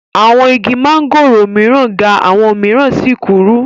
Awọn igi mángòrò mìíràn ga àwọn mìíràn sì kúrú.